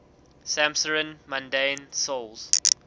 'samsarin mundane souls